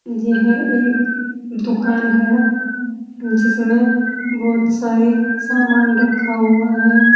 यह एक दुकान है जिसमें बहोत सारे सामान रखा हुआ है।